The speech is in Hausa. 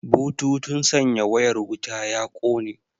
Bututun sanya wayar wuta ya kone